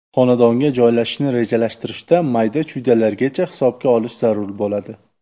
Xonadonga joylashishni rejalashtirishda mayda-chuydalargacha hisobga olish zarur bo‘ladi.